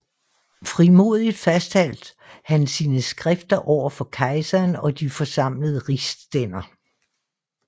Frimodigt fastholdt han sine skrifter over for kejseren og de forsamlede rigsstænder